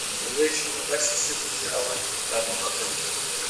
Muntu weshe anosisa kuti awane hutano hwake hwakanaka